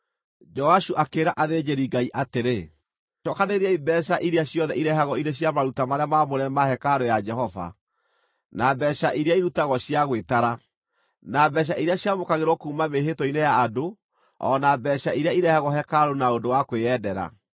Joashu akĩĩra athĩnjĩri-Ngai atĩrĩ, “Cookanĩrĩriai mbeeca iria ciothe irehagwo irĩ cia maruta marĩa maamũre ma hekarũ ya Jehova, na mbeeca iria irutagwo cia gwĩtara, na mbeeca iria ciamũkagĩrwo kuuma mĩĩhĩtwa-inĩ ya andũ o na mbeeca iria irehagwo hekarũ na ũndũ wa kwĩyendera.